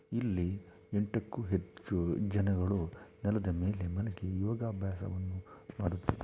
ಇಲ್ಲಿ ಎಂಟಕ್ಕೂ ಹೆಚ್ಚು ಜನಗಳು ನೆಲದ ಮೇಲೆ ಮಲಗಿ ಯೋಗಭ್ಯಾಸವನ್ನು ಮಾಡುತ್ತಿದ್ದಾರೆ .